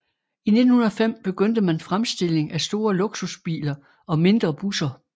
I 1905 begyndte man fremstilling af store luksusbiler og mindre busser